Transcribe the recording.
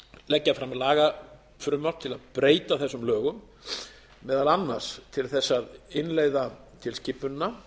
leggja fram lagafrumvarp til að breyta þessum lögum meðal annars til þess að innleiða tilskipunina